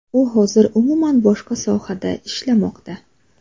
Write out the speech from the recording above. U hozir umuman boshqa sohada ishlamoqda.